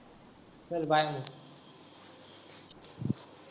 चल bye